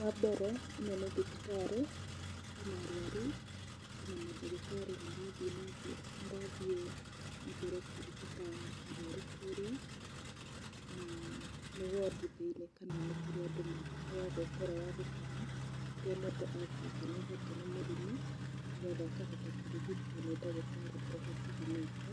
Wa mbere, ĩno nĩ thibitarĩ, kwĩna arũaru kwĩna mandagitarĩ marathiĩ na mbere marathiĩ na mbere kũrigita arũaru kũũrĩa, na nĩ wondi thĩini kana nĩ kũrĩa andũ maheagwo toro wa gũkoma rĩrĩa mũndũ atuĩka nĩahotwo nĩ mũrimũ nĩ getha akahota kũrigitwo nĩ ndagitarĩ ee hakũhĩ nake.